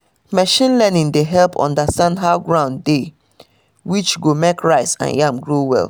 machine learning dey help understand how ground dey which go make rice and yam grow well